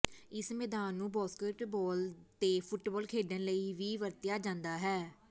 ਇਸ ਮੈਦਾਨ ਨੂੰ ਬਾਸਕਟਬਾਲ ਤੇ ਫੁੱਟਬਾਲ ਖੇਡਣ ਲਈ ਵੀ ਵਰਤਿਆ ਜਾਂਦਾ ਹੈ